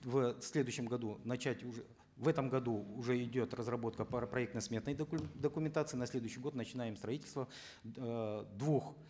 в следующем году начать уже в этом году уже идет разработка проектно сметной документации на следующий год начинаем строительство эээ двух